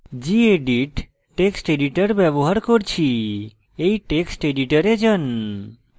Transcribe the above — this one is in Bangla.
gedit text editor ব্যবহার করছি এই text editor যান